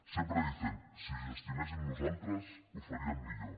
siempre dicen si ho gestionéssim nosaltres ho faríem millor